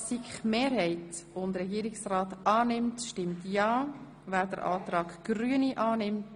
Kommissionsmehrheit/Regierungsrat gegen Antrag Grüne Machado)